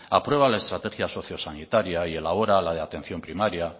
aprueba la estrategia sociosanitaria y elabora la de atención primario